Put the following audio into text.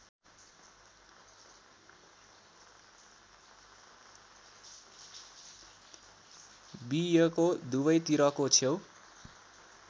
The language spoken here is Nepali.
बियोको दुबैतिरको छेउ